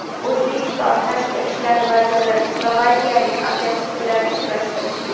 O‘zbekiston Tashqi ishlar vaziri slovakiyalik hamkasbi bilan uchrashdi.